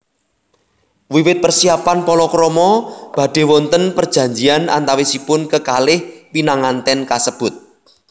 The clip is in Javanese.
Wiwit persiapan palakrama badhe wonten perjanjian antawisipun kekalih pinanganten kasebut